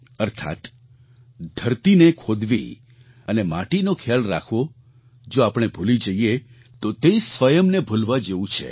અર્થાત્ ધરતીને ખોદવી અને માટીનો ખ્યાલ રાખવો જો આપણે ભૂલી જઈએ તો તે સ્વયંને ભૂલવા જેવું છે